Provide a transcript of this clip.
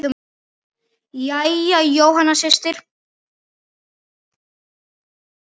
Jæja, Jóhanna systir.